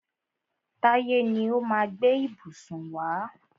Táyé ni ó má a gbé ìbùsùn wá.